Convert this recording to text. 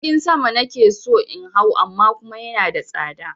Jirgin sama na ke so in hau amma kuma yana da tsada.